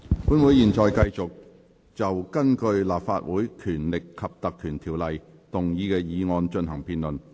本會現在繼續就根據《立法會條例》動議的議案進行辯論。